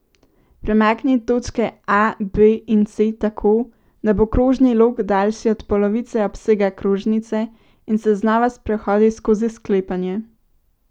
Premakni točke A, B in C tako, da bo krožni lok daljši od polovice obsega krožnice in se znova sprehodi skozi sklepanje.